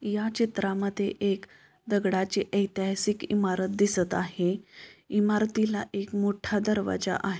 या चित्रामध्ये एक दगडाची एतिहासिक इमारत दिसत आहे इमारतीला एक मोठा दरवाजा आ --